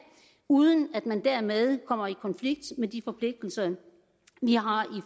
uden at man dermed kommer i konflikt med de forpligtelser vi har i